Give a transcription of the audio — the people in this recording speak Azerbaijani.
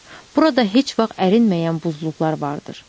Burada heç vaxt ərinməyən buzluqlar vardır.